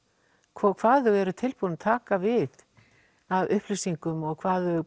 hvað þau eru tilbúin að taka við af upplýsingum og hvað þau